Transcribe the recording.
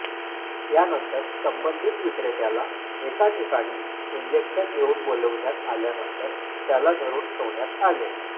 यानंतर संबंधित विक्रेत्याला एका ठिकाणी इंजेक्शन घेऊन बोलाविण्यात आल्यानंतर त्याला धरून ठेवण्यात आले